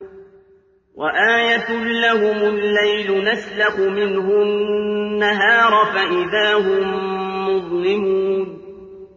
وَآيَةٌ لَّهُمُ اللَّيْلُ نَسْلَخُ مِنْهُ النَّهَارَ فَإِذَا هُم مُّظْلِمُونَ